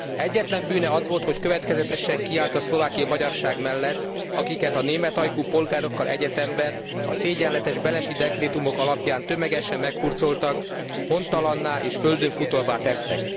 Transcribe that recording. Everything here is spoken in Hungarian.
Egyetlen bűne az volt, hogy következetesen kiállt a szlovákiai magyarság mellett, akiket a németajkú polgárokkal egyetemben a szégyenletes benesi dekrétumok alapján tömegesen meghurcoltak, hontalanná és földönfutóvá tettek.